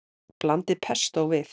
Blandið pestó við.